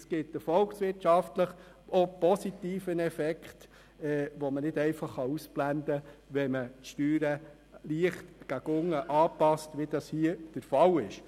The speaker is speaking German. Es gibt auch einen volkswirtschaftlich positiven Effekt, den man nicht ausblenden kann, wenn man die Steuern leicht gegen unten anpasst, wie dies hier der Fall ist.